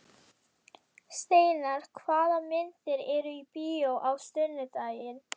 Steinar, hvaða myndir eru í bíó á sunnudaginn?